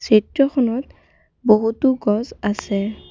চিত্ৰখনত বহুতো গছ আছে।